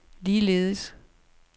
ligeledes